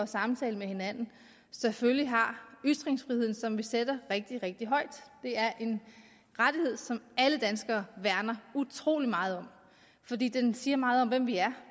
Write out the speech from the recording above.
samtaler med hinanden selvfølgelig har ytringsfriheden som vi sætter rigtig rigtig højt det er en rettighed som alle danskere værner utrolig meget om fordi den siger meget om hvem vi er